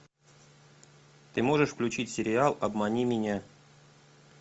ты можешь включить сериал обмани меня